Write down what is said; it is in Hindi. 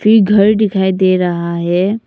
एक घर दिखाई दे रहा है।